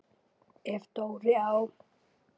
Ef Dóri á